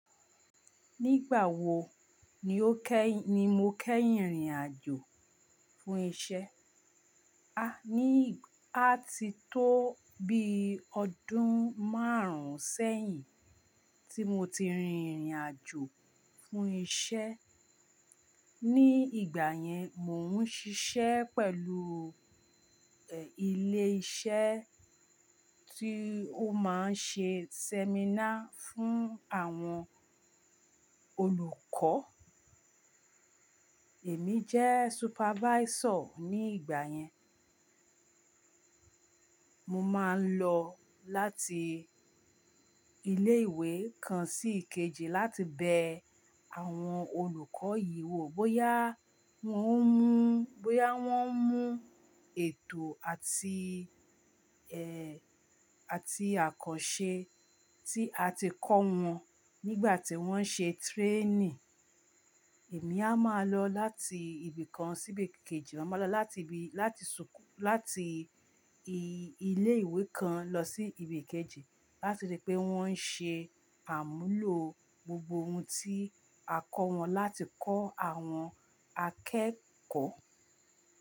Nígbà wo ni o kẹ́, ni mo kẹ́yìn rìnàjò fún isẹ́? A ní, a ti tó bí ọdún márùn-ún sẹ́yìn tí mo ti rin ìrìn àjò fún isẹ́. Ní ìgbà yẹn, mò ń ṣiṣẹ́ pẹ̀lú, ẹ́, ilé-iṣẹ́ tí ó máa ń ṣe seminar fún àwọn olùkọ́. Èmi jẹ́ supervisor ní ìgbà yẹn. Mo máa ń lọ láti ilé ìwé kan sí ìkejì láti bẹ àwọn olùkọ́ yìí wò bóyá wọ́n ń mú, bóyá wọ́n ń mú ètò àti, ẹ́, àti àkànṣe tí a ti kọ́ wọn nígbà tí wọ́n ń ṣe training. Èmi a máa lọ láti ibi kan sí ibi kejì, màá lọ láti ibi, láti ṣùkú, láti i-ilé ìwé kan lọ sí ibi kejì láti rí pé wọ́n ń ṣe àmúlò gbogbo ohun tí a kọ́ wọn láti kọ́ àwọn akẹ́kọ̀ọ́